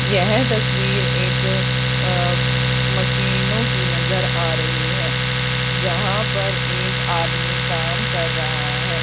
यह तस्वीर एक अ अं मशीनों की नजर आ रही है जहां पर एक आदमी काम कर रहा है।